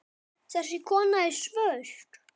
Þessi kona er svört.